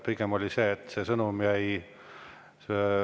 Pigem on nii, et see sõnum jääb stenogrammi.